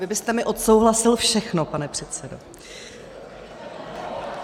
Vy byste mi odsouhlasil všechno, pane předsedo.